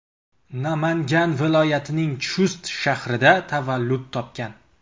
Namangan viloyatining Chust shahrida tavallud topgan.